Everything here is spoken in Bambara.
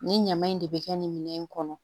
Nin ɲaman in de bɛ kɛ nin minɛn in kɔnɔ